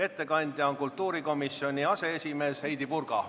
Ettekandja on kultuurikomisjoni aseesimees Heidy Purga.